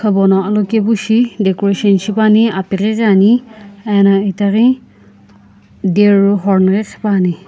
abo no alokepu shi decoration shipani apeque ane ano itaghe dear horny quekhioane.